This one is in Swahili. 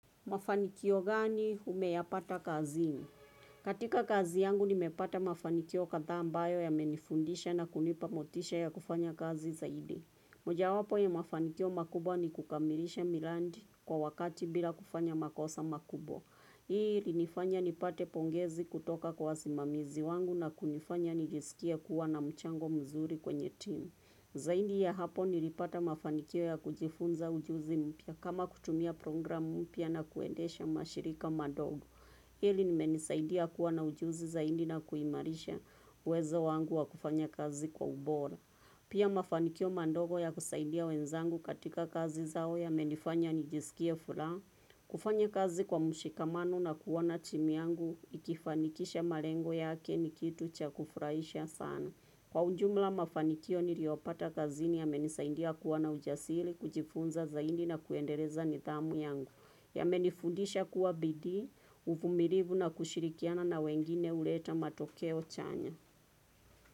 Mafanikio gani umeyapata kazini? Katika kazi yangu nimepata mafanikio kadhaa ambayo ya menifundisha na kunipamotisha ya kufanya kazi zaidi. Moja wapo ya mafanikio makubwa ni kukamilisha miradi kwa wakati bila kufanya makosa makubwa. Hii ilinifanya nipate pongezi kutoka kwa wasimamizi wangu na kunifanya nijisikie kuwa na mchango mzuri kwenye team. Zaidi ya hapo nilipata mafanikio ya kujifunza ujuzi mpya kama kutumia programu mpya na kuendesha mashirika madogo. Hili limenisaidia kuwa na ujuzi zaidi na kuimarisha uwezo wangu wa kufanya kazi kwa ubora. Pia mafanikio madogo ya kusaidia wenzangu katika kazi zao ya menifanya nijisikie furaha. Kufanya kazi kwa mshikamano na kuona timu yangu ikifanikisha malengo yake ni kitu cha kufurahisha sana. Kwa ujumla mafanikio niliopata kazini yamenisaidia kuwa na ujasiri, kujifunza zaidi na kuendeleza nidhamu yangu. Yamenifundisha kuwa bidii, uvumilivu na kushirikiana na wengine huleta matokeo chanya.